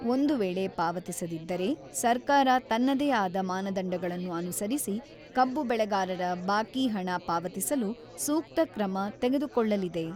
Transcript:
ಒಂದು ವೇಳೆ ಪಾವತಿಸದಿದ್ದರೆ ಸರ್ಕಾರ ತನ್ನದೇ ಆದ ಮಾನದಂಡಗಳನ್ನು ಅನುಸರಿಸಿ ಕಬ್ಬು ಬೆಳೆಗಾರರ ಬಾಕಿ ಹಣ ಪಾವತಿಸಲು ಸೂಕ್ತ ಕ್ರಮ ತೆಗೆದುಕೊಳ್ಳಲಿದೆ.